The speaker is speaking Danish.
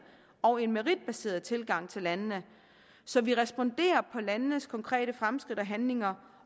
og meritbaseret tilgang til landene så vi responderer på landenes konkrete fremskridt og handlinger